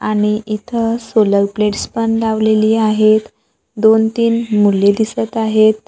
आणि इथं solar plates पण लावलेली आहेत दोन तीन मुली दिसत आहेत.